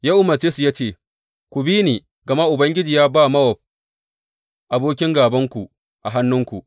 Ya umarce su ya ce, Ku bi ni, gama Ubangiji ya ba Mowab abokin gābanku a hannunku.